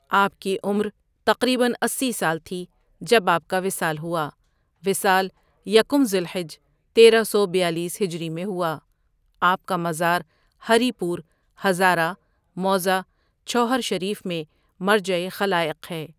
آپ کی عمر تقریباً اسی سال تھی جب آپ کا وصال ہوا وصال یکم ذی الحج تیرہ سو بیالیس ہجری میں ہوا آپ کا مزار ہری پور ،ہزاره موضع چھوہر شریف میں مرجع خلائق ہے.